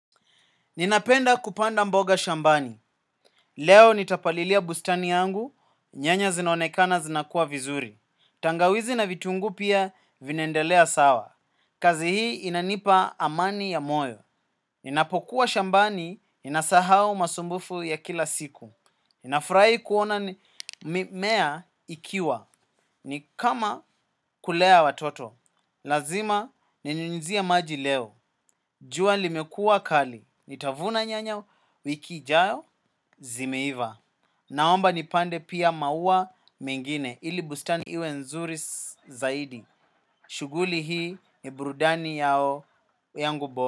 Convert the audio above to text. Ninapenda kupanda mboga shambani. Leo nitapalilia bustani yangu, nyanya zinaonekana zinakuwa vizuri. Tangawizi na vitunguu pia vinaendelea sawa. Kazi hii inanipa amani ya moyo. Ninapokuwa shambani, ninasahau masumbufu ya kila siku. Nafurahi kuona mimea ikiwa. Ni kama kulea watoto. Lazima ninyunyuzia maji leo. Jua limekuwa kali. Nitavuna nyanya wiki ijayo zimeiva. Naomba nipande pia maua mengine ili bustani iwe nzuri zaidi. Shughuli hii ni burudani yao yangu bora.